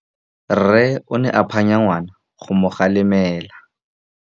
Rre o ne a phanya ngwana go mo galemela.